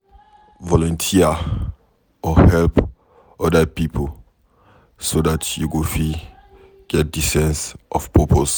Volunteer or help oda pipo so dat you go fit get di sense of purpose